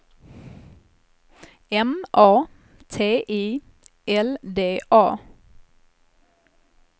M A T I L D A